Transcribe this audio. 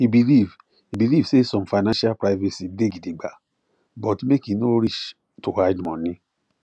e believe e believe say some financial privacy day gidigba but make e no reach to hide money